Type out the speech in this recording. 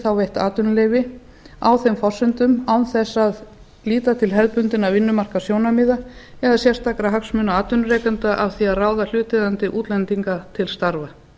þá veitt atvinnuleyfi á þeim forsendum án þess að líta til hefðbundinna vinnumarkaðssjónarmiða eða sérstakra hagsmuna atvinnurekenda af því að ráða hlutaðeigandi útlendinga til starfa